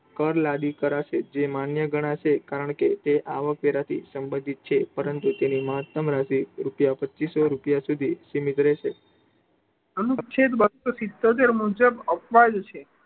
કર લાગુ કરશે જે માન્ય ગણાશે, કારણ કે એ આવક વેરા થી સંબંધિત છે, પરંતુ તેની મહત્તમ રાશિ રૂપિયા પચ્ચીસો રૂપિયા સુધી સીમિત રહેશે. અનુચ્છેદ બસ્સો સિત્યોતેર મુજબ અપવાદ છે.